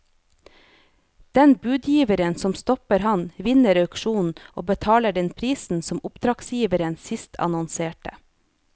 Den budgiveren som stopper ham, vinner auksjonen og betaler den prisen som oppdragsgiveren sist annonserte.